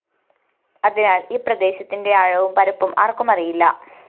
അതിനാല്‍ ഈ പ്രദേശത്തിന്റെ ആഴവും പരപ്പും ആര്‍ക്കും അറിയില്ല